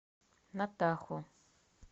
натаху